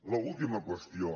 l’última qüestió